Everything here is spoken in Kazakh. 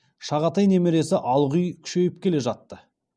шағатай немересі алғұй күшейіп келе жатты